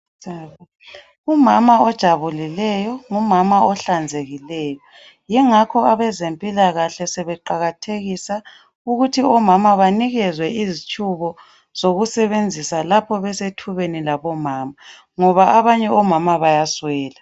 Umama ojabulileyo ngumama ohlanzekileyo yingakho abezempilakahle sebeqakathekisa ukuthi omama banikezwe izitshubo zokusebenzisa lapho besethubeni labomama ngoba abanye omama bayaswela.